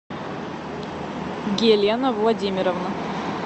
гелена владимировна